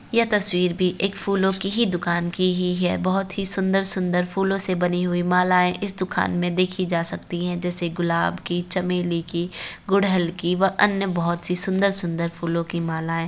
यह तस्वीर भी एक फूलों की ही दुकान की ही है बहोत ही सुन्दर-सुन्दर फूलों से बनी हुई मालाएं इस दुकान में देखि जा सकती हैं जैसे गुलाब की चमेली की गुड़हल की व अन्य बहोत सी सुन्दर- सुन्दर फूलों की मालाएं।